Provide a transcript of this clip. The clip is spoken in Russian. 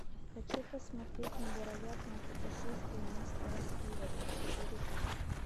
хочу посмотреть невероятное путешествие мистера спивета четыре ка